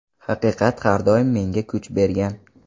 Haqiqat har doim menga kuch bergan.